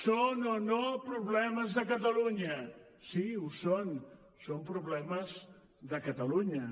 són o no problemes de catalunya sí ho són són problemes de catalunya